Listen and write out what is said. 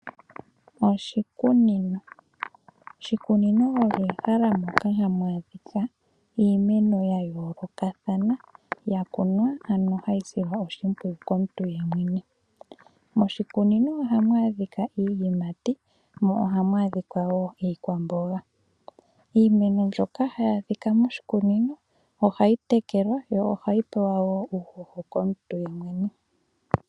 Oshikunino ,oshikunino olyo ehala moka hamu adhika iimeno ya yoolokathana ya kunwa ano hayi silwa oshimpwiyu komuntu ye mwene. Moshikunino ohamu adhika iiyimati mo ohamu adhika wo iikwamboga. Iimeno mbyoka hayi adhika moshikunino ohayi tekelwa yo ohayi pewa wo uuhoho komuntu ye mwene.